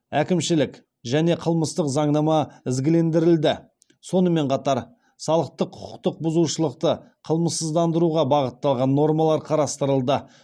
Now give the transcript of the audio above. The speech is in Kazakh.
әкімшілік және қылмыстық заңнама ізгілендірілді сонымен қатар салықтық құқықтық бұзушылықты қылмыссыздандыруға бағытталған нормалар қарастырылды